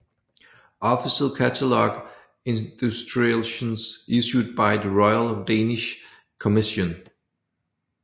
Official Cataloque illustrations issued by the Royal Danish Commission